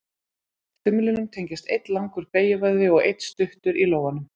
Þumlinum tengjast einn langur beygjuvöðvi og einn stuttur í lófanum.